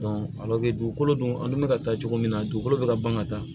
dugukolo dun an dun bɛ ka taa cogo min na dugukolo bɛ ka ban ka taa